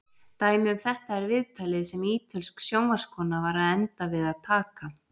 Dæmi um þetta er viðtalið sem ítölsk sjónvarpskona var að enda við að taka.